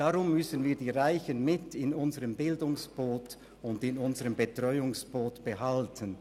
Darum müssen wir die Reichen in unserem Bildungsboot und in unserem Betreuungsboot behalten.